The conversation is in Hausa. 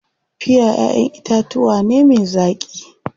Piya ƴaʼƴen itatuwa ne me zaƙi.